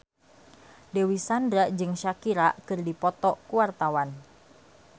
Dewi Sandra jeung Shakira keur dipoto ku wartawan